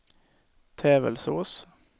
Tävelsås